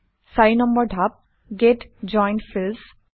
৪ নম্বৰ ধাপ - get joined fields